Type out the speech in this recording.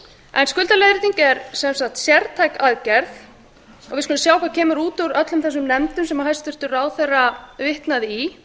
skuldaleiðrétting er sértæk aðgerð og við skulum sjá hvað kemur út úr öllum þessum nefndum sem hæstvirtur ráðherra vitnaði í